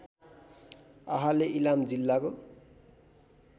आहाले इलाम जिल्लाको